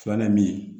Filanan ye min ye